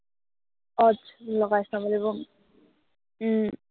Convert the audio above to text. আহ আচ্ছা, লগাই চাব লাগিব। উম